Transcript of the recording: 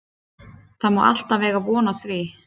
Það má alltaf eiga von á því.